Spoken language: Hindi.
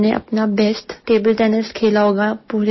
हाँ मैंने अपना बेस्ट टेबल टेनिस खेला होगा